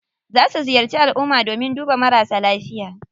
Za su ziyarci alumma domin duba marasa lafiya.